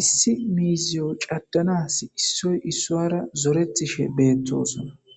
issi miiziyo caddanas issoy issoara zoretishe beettosona